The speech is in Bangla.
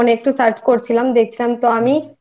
একদিন একটু Phone এ Search করছিলাম দেখছিলাম তো আমি